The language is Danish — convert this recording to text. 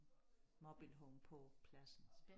Mobilehome på pladsen